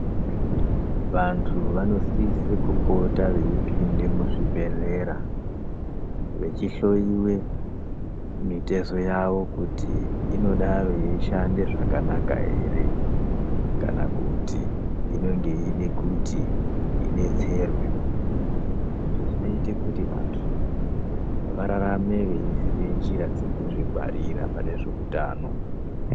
Vanthu vanosise kupota veipinde muzvibhedhlera vechihloyowe mutezo yavo, kuti inodaro yeishanda zvakanaka ere ,kana kuti inenge yeide kuti idetserwe izvo zvinoita kuti vantu vararame veziva njira dzekuzvingearira panezveutano.